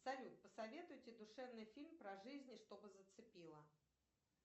салют посоветуйте душевный фильм про жизнь чтобы зацепило